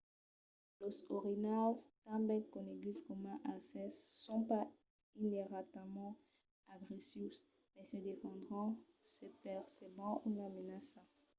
los orinhals tanben coneguts coma alces son pas inerentament agressius mas se defendràn se percebon una menaça